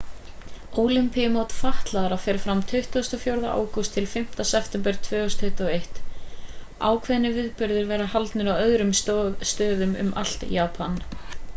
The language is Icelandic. ólympíumót fatlaðra fer fram frá 24. ágúst til 5. september 2021. ákveðnir viðburðir verða haldnir á öðrum stöðum um allt japan